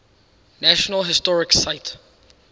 national historic site